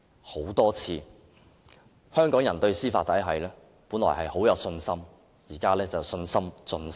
香港人本來對司法體系很有信心，但現在卻信心盡失。